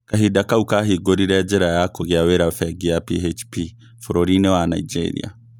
Kahinda kau kahingũrire njĩra ya kũgĩa wĩra bengi ya PHP bũrũri-inĩ wa Nigeria